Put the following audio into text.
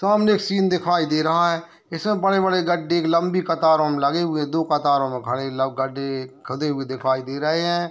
सामने एक सीन दिखाई दे रहा है इसमे बड़े-बड़े गड्डे एक लंबी कतारों में लगे हुए दो कतारों में खड़े लग गड्डे खुदे हुए दिखाई दे रहे है।